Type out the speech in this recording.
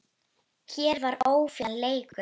Hér var ójafn leikur.